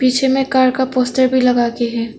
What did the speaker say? पीछे में कार का पोस्टर भी लगा के है।